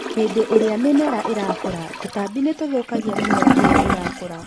hĩndĩ ĩrĩa mĩmera ĩrakũra tũtabi ni nitũthũkagia mĩmera ĩyo ĩrakũra